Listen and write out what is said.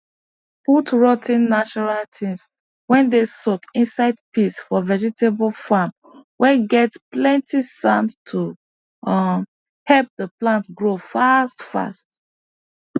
put roo ten natural things whey dey soaked inside piss for vegetable farm whey get plenty sand to um help the plant grow fast fast